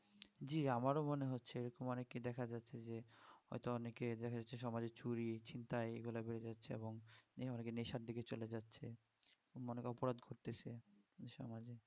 জি আমারও মনে হচ্ছে অনেককে দেখা যাচ্ছে যে'হয়তো অনেকে দেখা যাচ্ছে সমাজে চুরি ছিন্তাই এগুলো বেড়ে যাচ্ছে এখন অনেকে নেশার দিকে চলে যাচ্ছে বা অনেকে অপরাধ করছে এই সমাজে